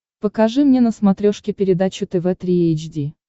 покажи мне на смотрешке передачу тв три эйч ди